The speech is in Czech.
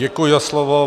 Děkuji za slovo.